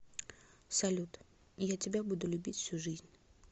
салют я тебя буду любить всю жизнь